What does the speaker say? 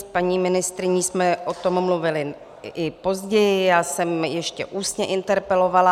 S paní ministryní jsme o tom mluvily i později, já jsem ještě ústně interpelovala.